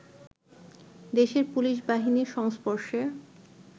দেশের পুলিশ বাহিনীর সংস্পর্শে